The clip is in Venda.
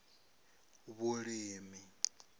vhulimi